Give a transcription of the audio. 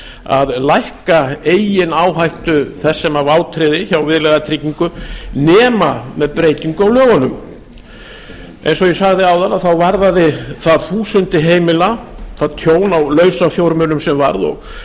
að lækka eigin áhættu þess sem vátryggði hjá viðlagatryggingu nema með breytingu á lögunum eins og ég sagði áðan varðaði það þúsundum heima það tjón á lausafjármunum sem varð og